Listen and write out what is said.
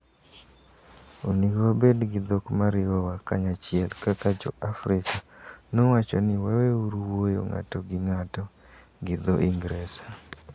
Onego wabed gi dhok ma riwowa kanyachiel kaka Jo - Afrika... Nowacho ni waweuru wuoyo ng`ato gi ng`ato gi dho Ingresa.